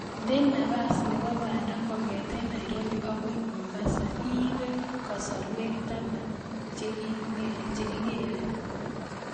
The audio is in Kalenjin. Nde napas nebo panda kongoten narobi agoi mombasa iibe kasrawek taman chekigere